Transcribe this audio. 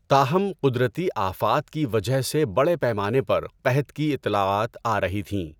تاہم، قدرتی آفات کی وجہ سے بڑے پیمانے پر قحط کی اطلاعات آرہی تھیں۔